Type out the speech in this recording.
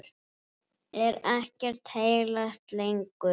Er ekkert heilagt lengur?